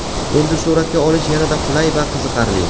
Endi suratga olish yanada qulay va qiziqarli.